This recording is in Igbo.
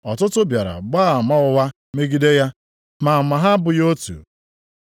Ọtụtụ bịara gbaa ama ụgha megide ya, ma ama ha abụghị otu.